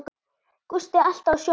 Gústi alltaf á sjónum.